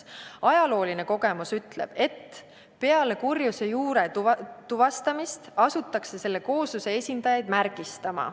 Ajalooline kogemus ütleb, et peale kurjuse juure tuvastamist asutakse selle koosluse esindajaid märgistama.